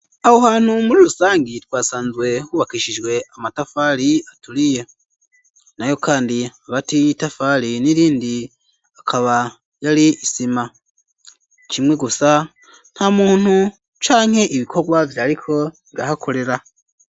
Aho hantu muri rusangi, twasanzwe hubakishijwe amatafari aturiye, nayo kandi hagati y'itafari n'irindi akaba yari isima; kimwe gusa nta muntu canke ibikorwa vyariko birahakorera.